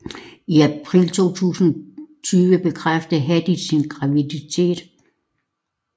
I april 2020 bekræftede Hadid sin graviditet